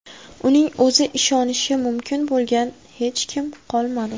Uning o‘zi ishonishi mumkin bo‘lgan hech kimi qolmadi.